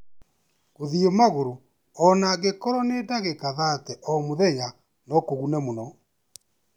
Gũthiĩ magũrũ o na angĩkorũo nĩ ndagĩka 30 o mũthenya no kũgune mũno.